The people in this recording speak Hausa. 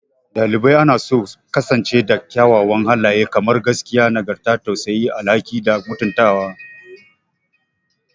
Ɗalibai anaso su kasance da kyawawan halaye kamar gaskiya, nagarta, tausayi, tausayi, alhaki, da mutuntawa.